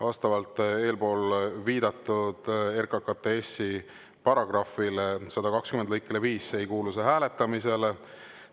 Vastavalt eelpool viidatud RKKTS‑i § 120 lõikele 5 ei kuulu see hääletamisele.